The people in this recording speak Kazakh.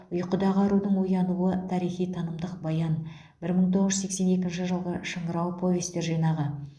ұйқыдағы арудың оянуы тарихи танымдық баян бір мың тоғыз жүз сексен екінші жылғы шыңырау повестер жинағы